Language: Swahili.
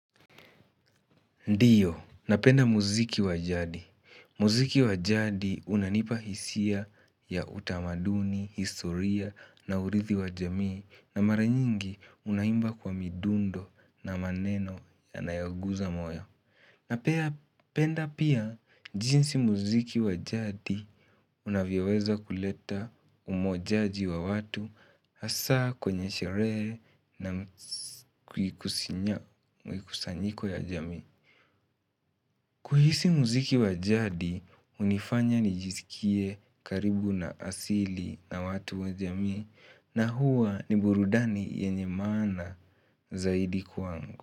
Ndiyo, napenda muziki wa jadi. Muziki wa jadi unanipa hisia ya utamaduni, historia na uridhi wa jamii na maranyingi unaimba kwa midundo na maneno ya nayoguza moyo. Napenda pia jinsi muziki wa jadi unavyoweza kuleta umojaji wa watu hasaa kwenye sherehe na kukusanyika ya jamii. Kuhisi muziki wa jadi, hunifanya nijiskie karibu na asili na watu wa jamii na huwa ni burudani yenye maana zaidi kwangu.